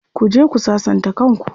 Ku je ku sassanta kan ku.